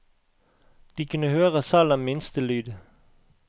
De kunne høre selv den minste lyd.